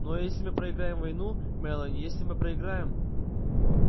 ну а если мы проиграем войну мелани если мы проиграем